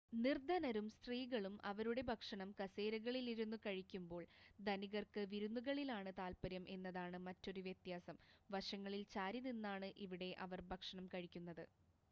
നിർദ്ധനരും സ്ത്രീകളും അവരുടെ ഭക്ഷണം കസേരകളിൽ ഇരുന്ന് കഴിക്കുമ്പോൾ ധനികർക്ക് വിരുന്നുകളിലാണ് താത്പര്യം എന്നതാണ് മറ്റൊരു വ്യത്യാസം വശങ്ങളിൽ ചാരിനിന്നാണ് ഇവിടെ അവർ ഭക്ഷണം കഴിക്കുന്നത്